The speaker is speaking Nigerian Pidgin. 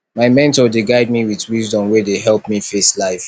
my mentor dey guide me wit wisdom wey dey help me face life